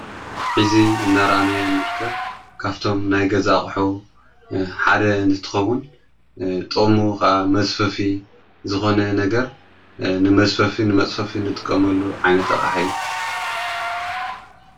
ኂዚ እናራንይ ንርከብ ካብቶም ናይገዛኣቕሑ ሓደ እንትኸዉን ጥቅሙ መዘፈፊ ዝኾነ ነገር ንመዝፈፊ ንመጽፈፊ ንጥቀመሉ ዓይነት ኣቅሓ እዩ።